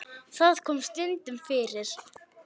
Það kom stundum fyrir.